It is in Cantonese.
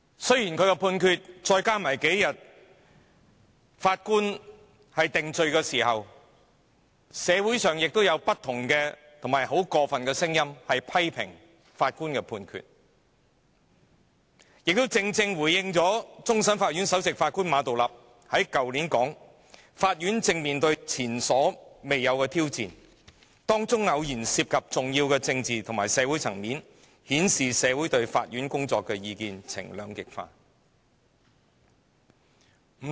雖然這數天，社會上對法官作出的定罪有種種過分的聲音，批評法官的判決，但亦正正回應了終審法院首席法官馬道立去年說的話："法院正面對前所未有的挑戰，當中偶然涉及重要的政治及社會層面，顯示社會對法院工作的意見呈兩極化"。